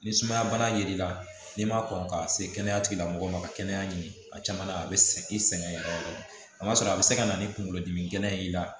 Ni sumaya bana ye l'i la n'i ma kɔn k'a se kɛnɛya tigilamɔgɔ ma ka kɛnɛya ɲini a caman la a bɛ segin i sɛgɛn yɛrɛ a ma sɔrɔ a bɛ se ka na ni kunkolodimi ye i la